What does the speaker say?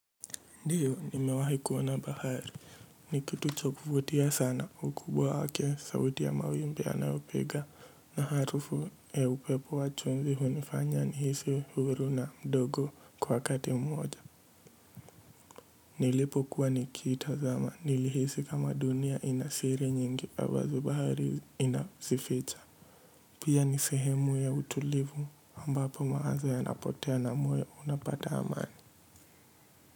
Ndio, nimewahi kuona bahari. Ni kitu cha kuvutia sana ukubwa wake sauti ya mawimbi yanayopiga na harufu ya upepo wa chumvi hunifanya nihisi huru na mdogo kwa wakati mmoja. Nilipo kuwa nikiitazama. Nilihisi kama dunia inasiri nyingi ambazo bahari inazificha. Pia ni sehemu ya utulivu ambapo mawazo yanapotea na moyo unapata amani.